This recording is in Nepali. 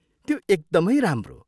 त्यो एकदमै राम्रो!